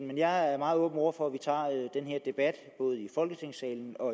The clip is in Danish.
men jeg er meget åben over for at vi tager den her debat både i folketingssalen og